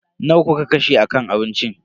Nawa kuka kashe a kan abinci?